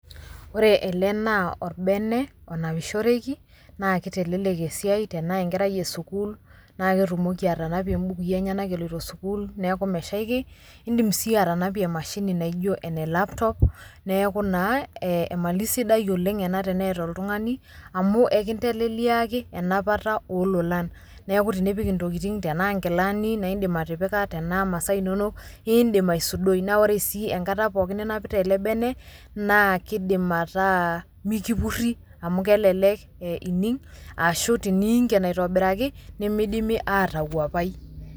Ore ele naa orbene onapishoreki naa kitelelek esiai tenaa enkerai esukuul naa ketumoki atanapie mbukui enyenak eloito sukuul niaku meshaiki . Indim sii atanapie emashini naijo elaptop, neeku naa emali sidai oleng ena teneeta oltungani amu enkiteleleliaki enapata olololan. Niaku ipik intokitin , tenaa inamuka naa indim atipika , tenaa imasaa inonok , indim aisudoi naa ore sii enkata pookin ninapita ele bene naa kidim ataa mikipuri amu kelelek ining ashu teniinkien aitobiraki , nemidimi atawuapai.